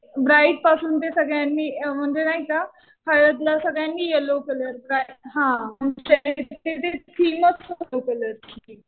bride पासून ते सगळ्यांनी म्हणजे नाही का हळदला सगळ्यांनी यल्लो कलर ते जे थीम असतं ना कलर